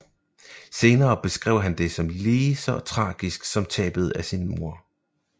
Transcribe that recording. Senere beskrev han det som lige så tragisk som tabet af en mor